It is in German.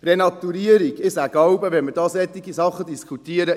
Renaturierung: Ich sage jeweils, wenn wir solche Dinge diskutieren: